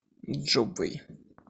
джобвей